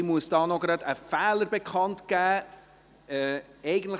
Ich muss hier noch einen Fehler bekannt geben: